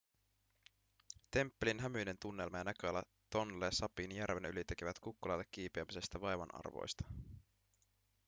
temppelin hämyinen tunnelma ja näköala tonle sapin järven yli tekevät kukkulalle kiipeämisestä vaivan arvoista